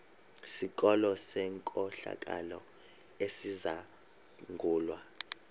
sikolo senkohlakalo esizangulwa